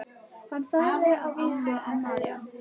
Hann sagði að vísu: en María?